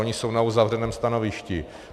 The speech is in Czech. Oni jsou na uzavřeném stanovišti.